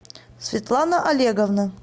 светлана олеговна